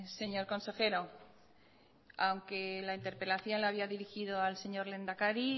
señor consejero aunque la interpelación la había dirigido al señor lehendakari